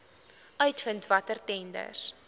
uitvind watter tenders